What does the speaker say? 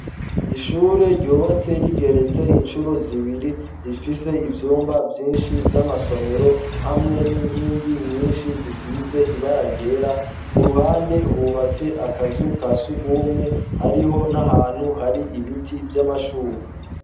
Ishure ryubatse rigeretse incuro zibiri rifise ivyumba vyinshi vy'amasomero hamwe n'inkingi nyinshi zisize ibara ryera ku ruhande hubatse akazu ka sugumwe hariho n'ahantu hari ibiti vy'amashugwe.